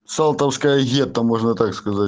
салтовское гетто можно так сказать